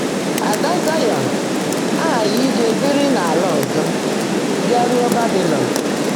“Ádá Záịọ́n” ághághị́ íje bìrí n’àlá ọ́zọ́, “bịáruó Bábiilọ́n.”